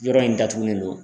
Yɔrɔ in datugulen don.